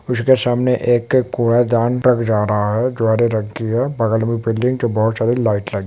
उसके सामने एक कूड़ेदान लग जा रहा है द्वारा रखी है बगल में बिल्डिंग के बहुत सारे लाइट लगे--